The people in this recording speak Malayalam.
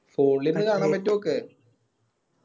Phone ലോക്കെ കാണാൻ പറ്റോക്ക്